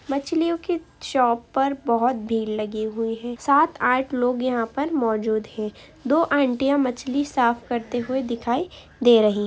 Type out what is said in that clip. मछलियों की शॉप पर बहुत भींड़ लगी हुई है. सात आठ लोग यहाँ पर मौजूद हैं। दो आंटियां मछली साफ करते हुए दिखायी दे रही हैं।